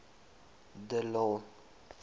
de lille